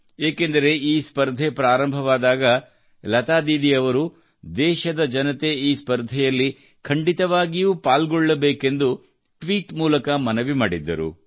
ಏಕೆಂದರೆ ಈ ಸ್ಪರ್ಧೆ ಪ್ರಾರಂಭವಾದಾಗ ಲತಾ ಅವರು ದೇಶದ ಜನತೆ ಈ ಸ್ಪರ್ಧೆಯಲ್ಲಿ ಖಂಡಿತವಾಗಿಯೂ ಪಾಲ್ಗೊಳ್ಳಬೇಕೆಂದು ಟ್ವೀಟ್ ಮೂಲಕ ಮನವಿ ಮಾಡಿದ್ದರು